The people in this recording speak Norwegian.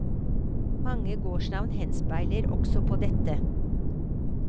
Mange gårdsnavn henspiller også på dette.